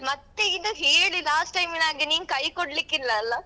ಮತ್ತೆ ಇದು ಹೇಳಿ last time ನಾಗೆ ನೀನ್ ಕೈ ಕೊಡ್ಲಿಕ್ಕೆ ಇಲ್ಲ ಅಲ್ಲ?